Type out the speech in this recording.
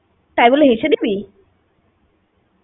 তাই বলে হেসে দিবি?